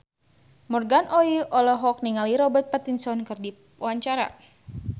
Morgan Oey olohok ningali Robert Pattinson keur diwawancara